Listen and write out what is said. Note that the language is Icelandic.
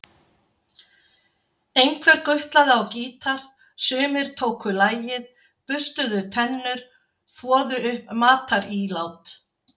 Einhver gutlaði á gítar, sumir tóku lagið, burstuðu tennur, þvoðu upp matarílát.